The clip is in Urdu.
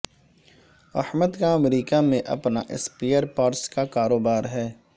احمد کا امریکہ میں اپنا سپئیر پارٹس کا کاروبار ہے